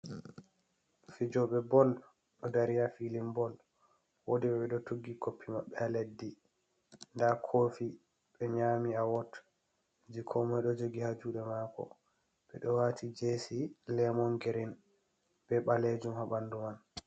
Fijooɓe bol ɗo dari ha filin bol woodi ɓe ɓe ɗo tuggi koppi maɓɓe ha leddi. Nda kofi ɓe nyami awot jei komoi ɗo jogi ha juuɗe maako. Ɓe ɗo wati jesi lemon girin be ɓaleejum ha ɓandu man.